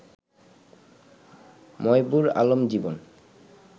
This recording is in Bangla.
ময়বুর আলম জীবন